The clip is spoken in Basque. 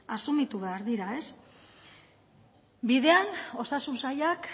asumitu behar dira bidean osasun sailak